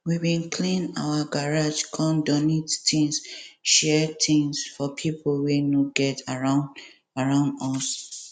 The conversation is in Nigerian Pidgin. we bin clean our garage come donate things share things for pipo wey no get around around us